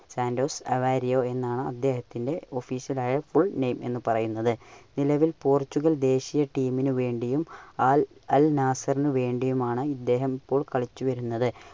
Santos Aveiro എന്നാണ് അദ്ദേഹത്തിന്റെ official ആയ fullname എന്ന് പറയുന്നത്. നിലവിൽ പോർട്ടുഗൽ ദേശിയ ടീമിന് വേണ്ടിയും അൽ ~അൽ നാസറിന് വേണ്ടിയുമാണ് ഇദ്ദേഹം ഇപ്പോൾ കളിച്ചുവരുന്നത്.